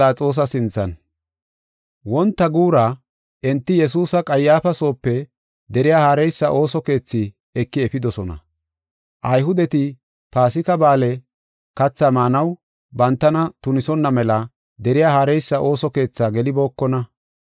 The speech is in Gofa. Wonta guura, enti Yesuusa Qayyaafa soope deriya haareysa ooso keethi eki efidosona. Ayhudeti Paasika Ba7aale kathaa maanaw bantana tunisonna mela deriya haareysa ooso keethaa gelibookona.